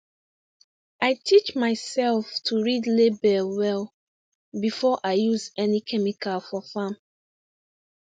i teach myself to read label well before i use any chemical for farm